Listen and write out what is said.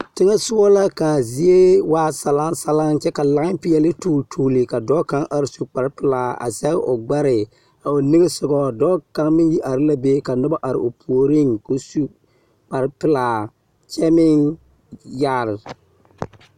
Teŋɛsogɔ la kaa zie waa salansalaŋ kyɛ ka lan-peɛɔle tuul tuuli ka dɔɔ kaŋa are su kparepelaa a zɛge o gbɛre a o niŋesogɔ dɔɔ kaŋ meŋ are la be ka noba are o puoriŋ ko su kparepelaa, kyɛ meŋ yagere.